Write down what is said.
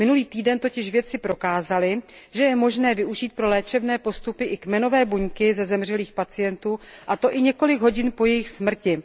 Minulý týden totiž vědci prokázali, že je možné využít pro léčebné postupy i kmenové buňky ze zemřelých pacientů, a to i několik hodin po jejich smrti.